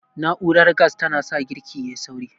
Na'urar gas ta na sa girki yayi sauri